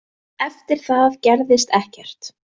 Eftir það gerðist ekkert.